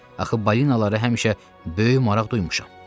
Axı balinalara həmişə böyük maraq duymuşam.